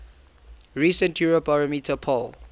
recent eurobarometer poll